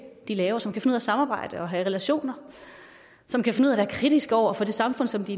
de laver som kan finde at samarbejde og have relationer som kan finde ud af at være kritiske over for det samfund som de